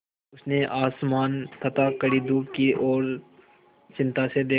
उसने आसमान तथा कड़ी धूप की ओर चिंता से देखा